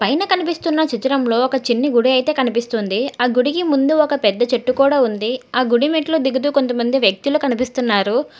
పైనా కనిపిస్తున్న చిత్రంలో ఒక చిన్ని గుడి అయితే కనిపిస్తుంది ఆ గుడికి ముందు ఒక పెద్ద చెట్టు కూడా ఉంది ఆ గుడిమెట్లు దిగుతూ కొంతమంది వ్యక్తులు కనిపిస్తున్నారు.